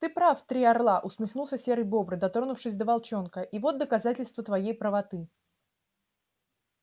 ты прав три орла усмехнулся серый бобр дотронувшись до волчонка и вот доказательство твоей правоты